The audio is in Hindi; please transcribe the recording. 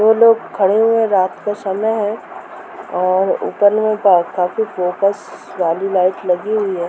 दो लोग खड़े हुए है | रात का समय है और ऊपर मे बैठ काफी एक फोकस गाड़ी लाइट लगी हुई है ।